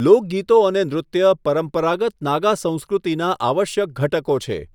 લોકગીતો અને નૃત્ય પરંપરાગત નાગા સંસ્કૃતિના આવશ્યક ઘટકો છે.